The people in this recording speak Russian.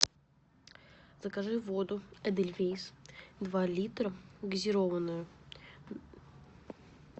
закажи воду эдельвейс два литра газированную